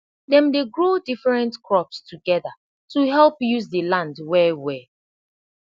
dem dey grow different crops toegda to help use de land welwel